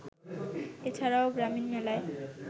এ ছাড়াও গ্রামীণ মেলায়